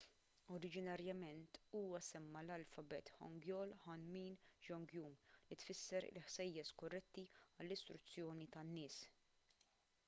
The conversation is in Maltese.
oriġinarjament huwa semma l-alfabet hangeul hunmin jeongeum li tfisser il-ħsejjes korretti għall-istruzzjoni tan-nies